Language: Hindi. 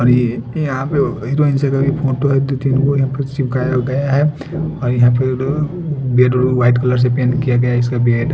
और ये यहां प हेरोइन क भि कोई फोटो है दू तीन गो यहां पर चिपकाया गया है और यह पेड़ बेड उड वाइट कलर से पेंट किआ गया है इसका बेड --